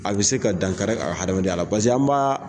A be se ka dankari a ka hadamaden ya la . Paseke an ba